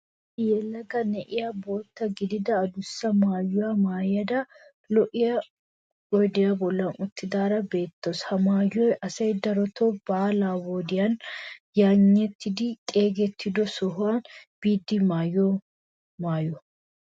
Issi yelaga na'iya bootta gididi adussa maayuwaa maayada lo'iya oyidiya bollan uttidaara beettawuus. Ha maayoyi asay darotoo baalaa wodiyaaninne yayinnetidi xeegettiyo sohuwa biiddi maayiyo maayo.